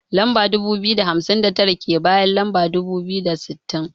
Lamba dubu biyu da hamsin da tara, take bayan lamba dubu biyu da sittin.